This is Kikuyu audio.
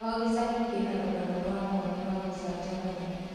O gĩcagi kĩna rũgano rwa mwanya na rwa gũcanjamũra.